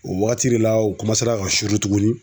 O wagati de la u ka suru tuguni.